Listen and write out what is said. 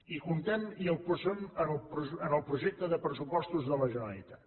i comptem i el posem en el projecte de pressupostos de la generalitat